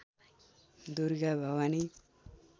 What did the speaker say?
Durga Bhawani